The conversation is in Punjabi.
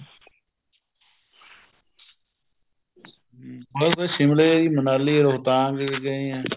ਹਮ ਮੈਂ ਬੱਸ ਸ਼ਿਮਲੇ ਮਨਾਲੀ ਰੋਹਤਾਂਗ ਗਏ ਹਾਂ